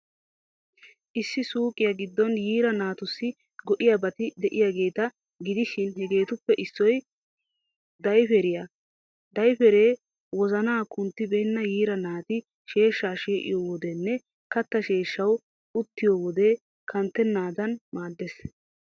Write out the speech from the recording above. Issi suuqiyaa giddon yiira naatussi go'iyaabati de'iyaageeta gidishin, hegeetuppe issoy daypperiyaa. Daypperee wozana kunttibeenna yiira naati sheeshshaa shee'yoo wodenne katta sheeshshawu uttiyo wode kanttennaadan maaddees.